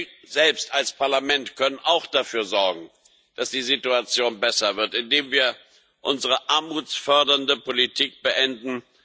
Wir selbst als Parlament können auch dafür sorgen, dass die Situation besser wird, indem wir unsere armutsfördernde Politik beenden.